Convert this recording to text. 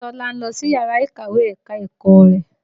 Bísọ́lá ń lọ síyàrá ìkàwé ẹ̀ka-ẹ̀kọ́ rẹ̀.